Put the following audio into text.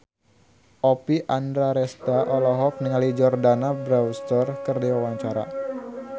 Oppie Andaresta olohok ningali Jordana Brewster keur diwawancara